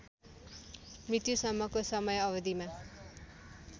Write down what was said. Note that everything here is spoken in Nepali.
मृत्युसम्मको समय अवधिमा